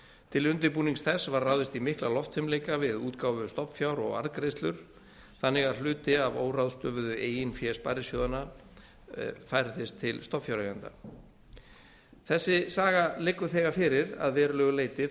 til undirbúnings þess var ráðist í mikla loftfimleika við útgáfu stofnfjár og arðgreiðslur þannig að hluti af óráðstöfuðu eigin fé sparisjóðanna færðist til stofnfjáreigenda þessi saga liggur þegar fyrir að verulegu leyti